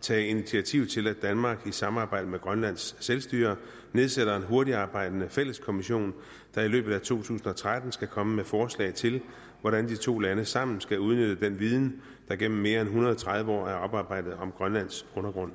tage initiativ til at danmark i samarbejde med grønlands selvstyre nedsætter en hurtigtarbejdende fælles kommission der i løbet af to tusind og tretten skal komme med forslag til hvordan de to lande sammen skal udnytte den viden der gennem mere end en hundrede og tredive år er oparbejdet om grønlands undergrund